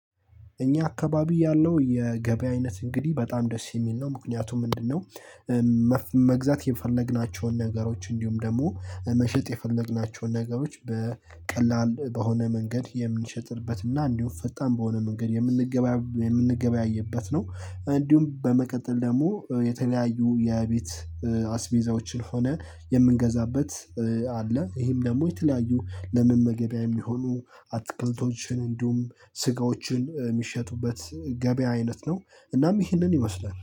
እኛ አካባቢ ያለው የገበያ አይነት እንግዲህ በጣም ደስ የሚል ነው ምክንያቱም ምንድነው? መግዛት የፈለግናቸውን ነገሮች እንዲሁም ደግሞ መሸጥ የፈለግናቸውን ነገሮች በቀላል በሆነ መንገድ የምንሸጥበት እና እንዲሁም ፈጣን በሆነ መንገድ የምንገበያ የምንገበያየበት ነው። እንዲሁም በመቀጠል ደግሞ የተለያዩ የቤት አስቤዛዎችን ሆነ የምንገዛበት አለ። ይሄም ደግሞ የተለያዩ ለመመገቢያ እሚሆኑ አትክልቶችን እንዲሁም ስጋዎችን እሚሸጡበት ገበያ አይነት ነው። እናም ይህንን ይመስላል